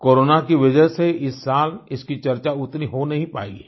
corona की वजह से इस साल इसकी चर्चा उतनी हो नहीं पाई है